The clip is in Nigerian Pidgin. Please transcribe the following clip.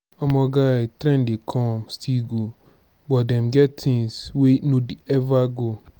omo guy trend dey come still go but dem get things wey no dey ever go.